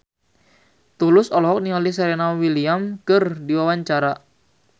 Tulus olohok ningali Serena Williams keur diwawancara